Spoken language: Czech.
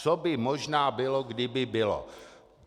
Co by možná bylo, kdyby bylo...